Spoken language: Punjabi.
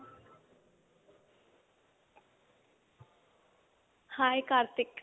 hi ਕਾਰਤਿਕ